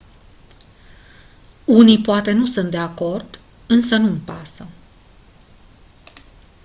unii poate nu sunt de acord însă nu-mi pasă